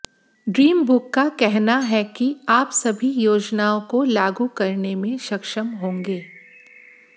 dream book का कहना है कि आप सभी योजनाओं को लागू करने में सक्षम होंगे